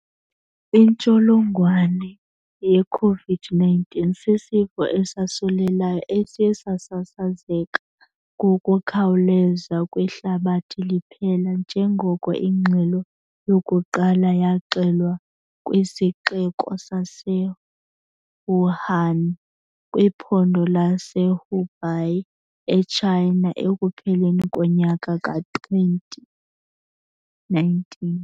Intsholongwane yeKhovidi 19 sisifo esosulelayo esiye sasasazeka ngokukhawuleza kwihlabathi liphela njengoko ingxelo yokuqala yaxelwa kwisixeko saseWuhan kwiphondo lase-Hubei e-Tshayina ekupheleni konyaka ka-2019.